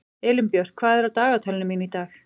Elínbjört, hvað er á dagatalinu mínu í dag?